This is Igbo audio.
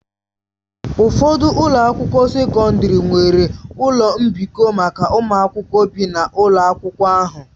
Ụfọdụ ụlọ akwụkwọ sekọndrị nwere ụlọ mbikọ maka ụmụ akwụkwọ bi n'ụlọ akwụkwọ ahụ.